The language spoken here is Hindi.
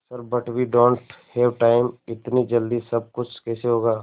sir but we don't have time इतनी जल्दी सब कुछ कैसे होगा